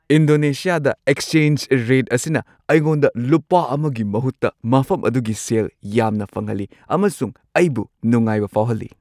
ꯏꯟꯗꯣꯅꯦꯁꯤꯌꯥꯗ exchange rate ꯑꯁꯤꯅ ꯑꯩꯉꯣꯟꯗ ꯂꯨꯄꯥ ꯑꯃꯒꯤ ꯃꯍꯨꯠꯇ ꯃꯐꯝ ꯑꯗꯨꯒꯤ ꯁꯦꯜ ꯌꯥꯝꯅ ꯐꯪꯍꯜꯂꯤ ꯑꯃꯁꯨꯡ ꯑꯩꯕꯨ ꯅꯨꯡꯉꯥꯏꯕ ꯐꯥꯎꯍꯜꯂꯤ꯫